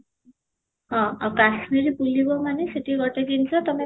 ହଁ, ଆଉ କାଶ୍ମୀର ବୁଲିବ ମାନେ ସେଠି ଗୋଟେ ଜିନିଷ ତୋମେ